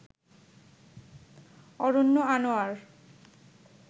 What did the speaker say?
Aranya Anwar